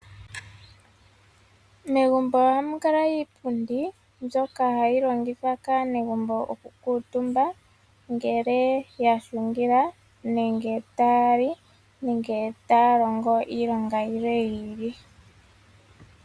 Megumbo ohamu kala iipundi mbyoka hayi kuutumbwa kaanegumbo ngele yahungila, tayali nenge taya longo iilonga yilwe yiili.